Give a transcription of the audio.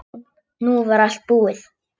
Nú var allt búið.